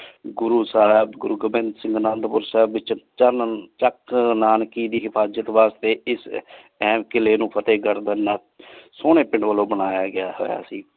ਗੁਰੂ ਸਾਹਿਬ ਗੁਰੂ ਗੋਬਿੰਦ ਸਿੰਘ ਅਨੰਦੁਪੁਰ ਸਾਹਿਬ ਵਿਚ ਚਾਨਣ ਚਕ ਨਾਨਕੀ ਦੇ ਹਿਫ਼ਾਜ਼ਤ ਵਾਸ੍ਤੇ ਇਸ ਕੀਲੇ ਨੂ ਫ਼ਤੇਹ ਕ ਸੋਨੀ ਪਿੰਡ ਵਾਲੋ ਬਨਾਯਾ ਗਯਾ ਹੋਯਾ ਸੇ